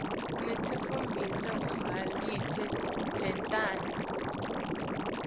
netitfombe letimbili letincane